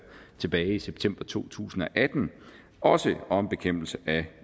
tilbage i september to tusind og atten også om bekæmpelse af